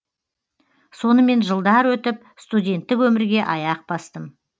сонымен жылдар өтіп студенттік өмірге аяқ бастым